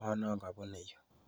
Ng'o noo kabune yu